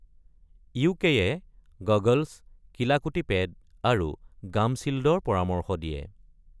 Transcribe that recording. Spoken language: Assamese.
ইউ.কে.-য়ে গগলচ, কিলাকুটি পেড আৰু গাম শ্বিল্ডৰ পৰামৰ্শ দিয়ে।